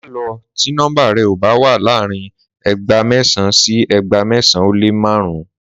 Má lọ ti nọmba rẹ o ba wa laarin ẹegba mẹsan sí ẹegba mẹsan o lé márùn